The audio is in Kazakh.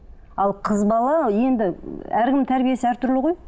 ал қыз бала енді әркімнің тәрбиесі әртүрлі ғой